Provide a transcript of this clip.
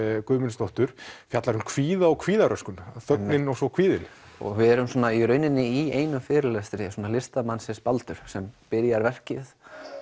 Guðmundsdóttur fjallar um kvíða og kvíðaröskun þögnin og svo kvíðinn við erum í rauninni í einum fyrirlestri listamannsins Baldurs sem byrjar verkið